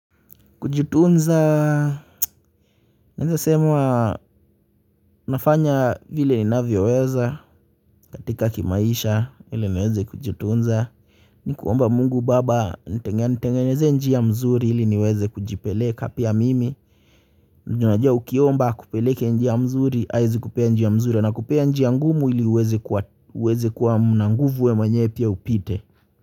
Kujitunza, naeza sema, nafanya vile ninavyo weza katika kimaisha, ili niweze kujitunza ni kuomba Mungu baba anite anitengenezee njia mzuri ili niweze kujipeleka pia mimi na unajua ukiomba akupeleke njia mzuri, haezi kupea njia mzuri, anakupea njia ngumu ili uweze uweze kuwa mna nguvu, wewe mwenyewe pia upite.